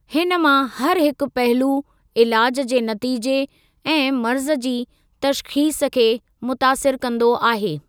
हिन मां हर हिकु पहलू ईलाज जे नतीजे ऐं मर्ज़ जी तशख़ीस खे मुतासिर कंदो आहे।